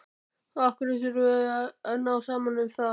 Og af hverju þurfum við að ná saman um það?